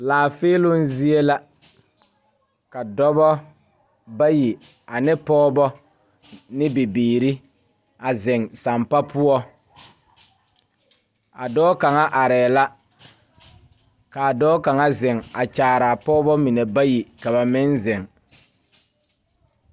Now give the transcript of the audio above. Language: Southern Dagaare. Laafeeloŋ zie la ka dɔba bayi ane pɔgeba ne bibiiri a zeŋ sampa poɔ a dɔɔ kaŋ arɛɛ la k,a dɔɔ kaŋ zeŋ a kyaaraa pɔgeba mine bayi ka ba meŋ zeŋ.